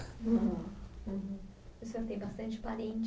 O senhor tem bastante parente